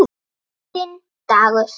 Þinn Dagur.